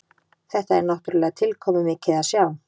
Þetta er náttúrulega tilkomumikið að sjá